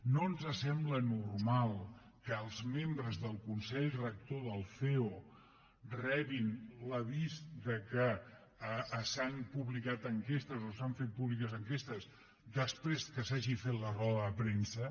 no ens sembla normal que els membres del consell rector del ceo rebin l’avís que s’han publicat enquestes o s’han fet públiques enquestes després que se n’ha fet la roda de premsa